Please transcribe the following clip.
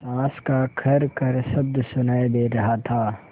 साँस का खरखर शब्द सुनाई दे रहा था